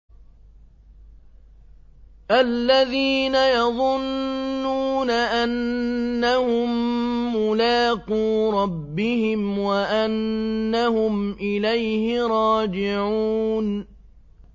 الَّذِينَ يَظُنُّونَ أَنَّهُم مُّلَاقُو رَبِّهِمْ وَأَنَّهُمْ إِلَيْهِ رَاجِعُونَ